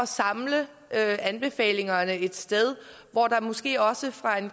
samle anbefalingerne ét sted hvor der måske også fra en